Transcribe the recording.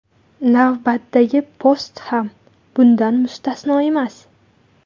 Navbatdagi post ham bundan mustasno emas.